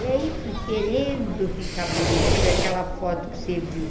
E aí fui querendo ficar bonita, foi aquela foto que você viu